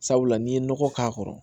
Sabula n'i ye nɔgɔ k'a kɔrɔ